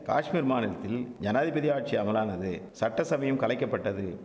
காஷ்மீர் மாநிலத்தில் ஜனாதிபதி ஆட்சி அமலானது சட்டசபையும் கலைக்கப்பட்டது